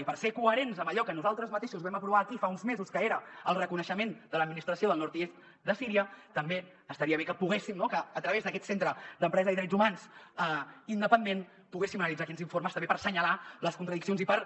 i per ser coherents amb allò que nosaltres mateixos vam aprovar aquí fa uns mesos que era el reconeixement de l’administració del nord i est de síria també estaria bé que poguéssim no a través d’aquest centre d’empresa i drets humans independent analitzar aquests informes també per assenyalar les contradiccions i per